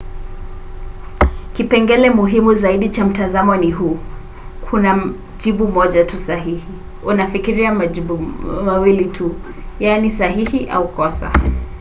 kipengele muhimu zaidi cha mtazamo huu ni: kuna jibu moja tu sahihi. unafikiria majibu mawili tu yaani sahihi au kosa